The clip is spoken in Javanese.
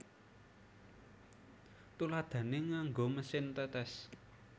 Tuladhané nganggo mesin tetes